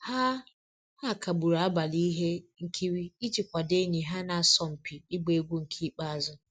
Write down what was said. Ha Ha kagburu abalị ihe nkiri iji kwadoo enyi ha na-asọ mpi igba egwu nke ikpeazụ